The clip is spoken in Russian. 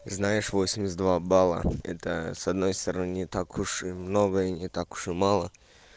знаешь восемьдесят два балла это с одной стороны не так уж и много и не так уж и мало